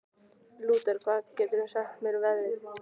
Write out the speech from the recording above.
Lúter, hvað geturðu sagt mér um veðrið?